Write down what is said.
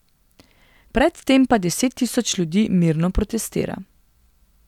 Predtem pa deset tisoč ljudi mirno protestira.